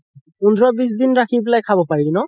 পোন্ধৰ বিশ দিন ৰাখি পেলাই খাব পাৰি ন